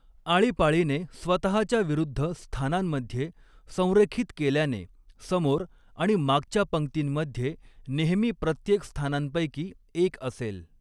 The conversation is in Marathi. आळीपाळीने स्वतहाच्या विरुद्ध स्थानांमध्ये संरेखित केल्याने, समोर आणि मागच्या पंक्तींमध्ये नेहमी प्रत्येक स्थानांपैकी एक असेल.